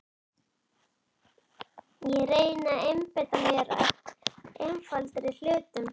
Ég reyni að einbeita mér að einfaldari hlutum.